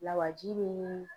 Lawaji bɛ ɲini